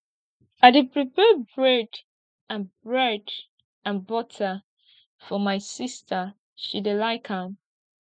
i dey prepare bread and bread and butter for my sista she dey like am